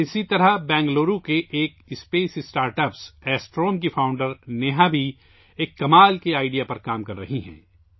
اسی طرح بنگلور میں واقع خلائی اسٹارٹ اپ ایسٹروم کی بانی نیہا بھی ایک حیرت انگیز آئیڈیا پر کام کررہی ہیں